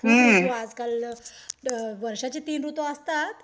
आजकाल वर्षाचे तीन ऋतू असतात